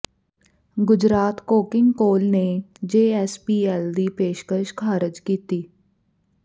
Gujarat coking coal ਨੇ JSPL ਦੀ ਪੇਸ਼ਕਸ਼ ਖਾਰਜ ਕੀਤੀ